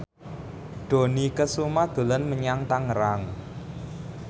Dony Kesuma dolan menyang Tangerang